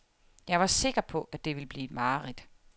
Jeg var sikker på, at det ville blive et mareridt.